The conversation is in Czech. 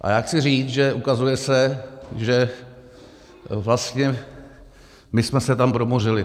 A já chci říct, že ukazuje se, že vlastně my jsme se tam promořili.